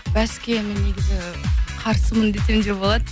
бәске мен негізі қарсымын десем де болады